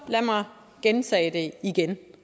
gentage det igen